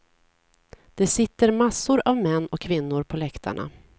Det sitter massor av män och kvinnor på läktarna.